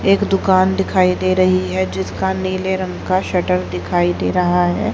एक दुकान दिखाई दे रही है जिसका नीले रंग का शटर दिखाई दे रहा है।